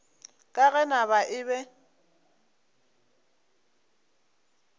ka ge naga e be